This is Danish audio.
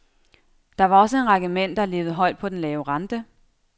Der var også en række mænd, der levede højt på den lave rente.